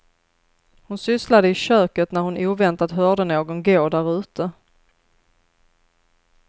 Hon sysslade i köket när hon oväntat hörde någon gå därute.